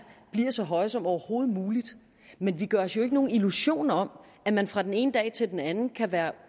bliver så høje som overhovedet muligt men vi gør os jo ikke nogen illusioner om at man fra den ene dag til den anden kan være